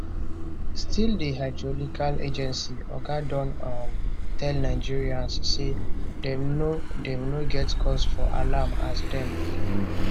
still di hydrological agency oga don um tell nigerians say dem no dem no get cause for alarm as dem